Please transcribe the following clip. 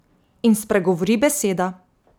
In spregovori beseda.